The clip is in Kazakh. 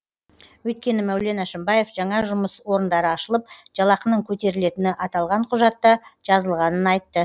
өйткені мәулен әшімбаев жаңа жұмыс орындары ашылып жалақының көтерілетіні аталған құжатта жазылғанын айтты